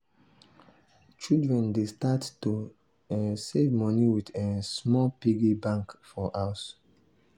children dey start to um save moni with um small piggy bank for house.